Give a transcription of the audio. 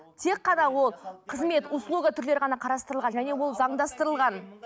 тек қана ол қызмет услуга түрлері ғана қарастырылған және ол заңдастырылған